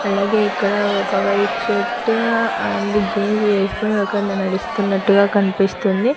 అలాగే ఇక్కడ ఒక వైట్ షర్టు అండ్ జీన్స్ వేసుకొని ఒక అన్న నడుస్తున్నట్టుగా కనిపిస్తుంది.